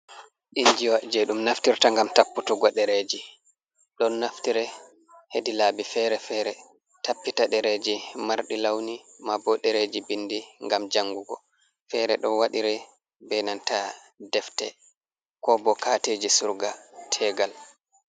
Injiya je dum naftirta gam tapputuggo dereji ,don naftiri hedi laabi fere-fere tappita dereji mardi lawni ma bo dereji bindi gam jangugo fere do wadire bedanta defte ko bo kateji surga tegal.